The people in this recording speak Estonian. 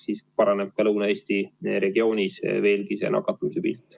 Siis paraneb ka Lõuna-Eesti regioonis nakatumise pilt.